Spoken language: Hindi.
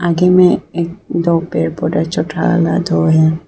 आगे में दो पेड़ पौधा दो है।